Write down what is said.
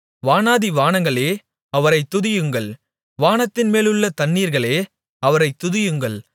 வானாதி வானங்களே அவரைத் துதியுங்கள் வானத்தின் மேலுள்ள தண்ணீர்களே அவரைத் துதியுங்கள்